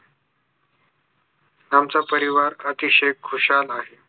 आमचा परिवार अतिशय खुशाल आहे